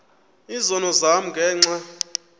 izono zam ngenxa